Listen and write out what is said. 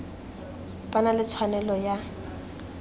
ba na le tshwanelo ya